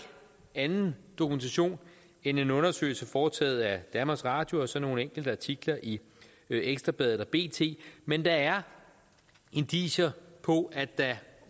anden dokumentation end en undersøgelse foretaget af danmarks radio og så nogle enkelte artikler i ekstra bladet og bt men der er indicier på at der